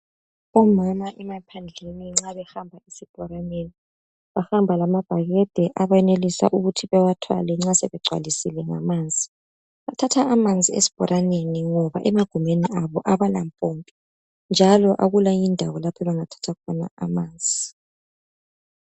Omama emaphandleni nxa behamba asibholaneni bahamba lamabhakede abenelisa ukuthi bewathwale nxa sebegcwalisile ngamanzi bathatha amanzi asibholaneni ngoba emagumeni abo abala mpompi njalo akula eyinye indawo lapho abangathatha khona amanzi.